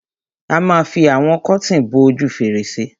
A ma fi àwọn kọ́tìn bo ojú fèrèsé.